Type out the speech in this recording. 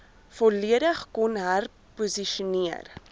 volledig kon herposisioneer